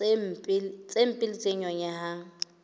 tse mpe le tse nyonyehang